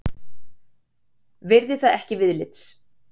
Virði það ekki viðlits.